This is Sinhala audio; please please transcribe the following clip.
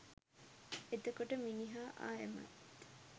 එතකොට මිනිහා ආයමත්